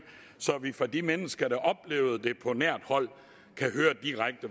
så vi fra de mennesker der oplevede det på nært hold